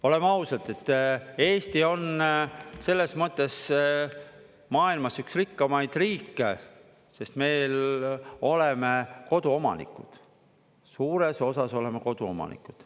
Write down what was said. Oleme ausad, et Eesti on selles mõttes maailmas üks rikkamaid riike, sest me oleme koduomanikud, suures osas oleme koduomanikud.